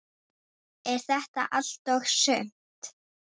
Er þetta allt og sumt?